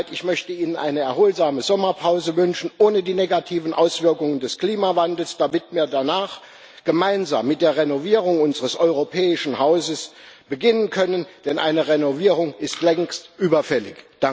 Ich möchte Ihnen eine erholsame Sommerpause wünschen, ohne die negativen Auswirkungen des Klimawandels, damit wir danach gemeinsam mit der Renovierung unseres europäischen Hauses beginnen können, denn eine Renovierung ist längst überfällig.